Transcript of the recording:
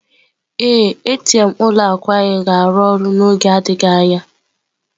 Ee, ATM ụlọ akụ anyị ga-arụ ọrụ n'oge adịghị anya.